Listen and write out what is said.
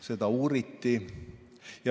Seda uuriti.